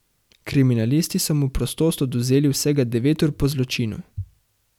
Kriminalisti so mu prostost odvzeli vsega devet ur po zločinu.